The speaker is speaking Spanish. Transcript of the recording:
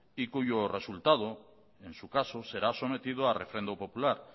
y cuyo resultado en su caso será sometido a referéndum popular